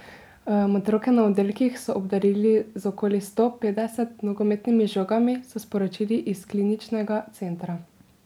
Otroke na oddelkih so obdarili z okoli sto petdeset nogometnimi žogami, so sporočili iz Kliničnega centra.